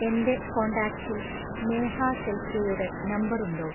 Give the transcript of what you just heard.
എന്റെ കോണ്ടാക്ട്സിൽ നേഹ ഷെൽകെയുടെ നംബറുണ്ടോ